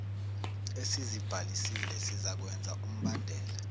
esizibhalisile sizakwenza umbandela